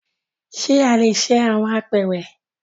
Ṣe a le ṣe awọn apeere?